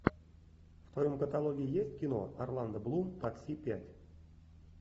в твоем каталоге есть кино орландо блум такси пять